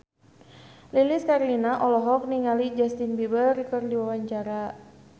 Lilis Karlina olohok ningali Justin Beiber keur diwawancara